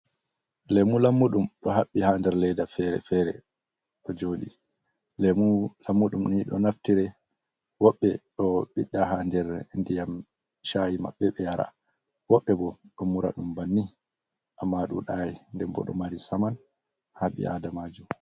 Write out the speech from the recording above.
Lemu lammuɗum ɗo haɓɓi haa der leda feere-feere ɗo joɗi. Lemu lammuɗum nii ɗo naftire, woɓbe ɗo ɓiɗɗa haa der ndiyam shayi maɓɓe ɓe yara, woɓɓe bo ɗo mura ɗum banni, amma dudai, nden bo ɗo mari saman ha ɓii aadamajo.